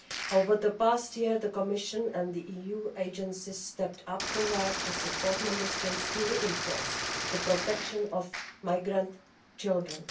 Over the past year, the Commission and the EU agencies stepped up the work to support Member States to reinforce the protection of migrant children.